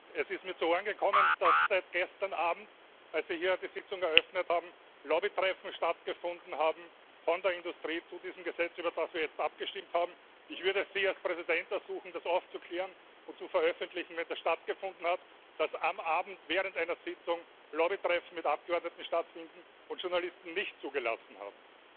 Es ist mir zu Ohren gekommen, dass seit gestern Abend, als wir hier die Sitzung eröffnet haben, Lobbytreffen stattgefunden haben von der Industrie zu diesem Gesetz, über das wir jetzt abgestimmt haben. Ich würde Sie als Präsident ersuchen, das aufzuklären und zu veröffentlichen, wenn das stattgefunden hat, dass am Abend während einer Sitzung Lobbytreffen mit Abgeordneten stattfinden und Journalisten nicht zugelassen waren.